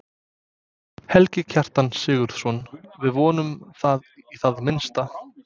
Helgi Kjartan Sigurðsson: Við vonum það í það minnsta?